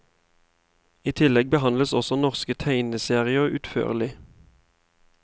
I tillegg behandles også norske tegneserier utførlig.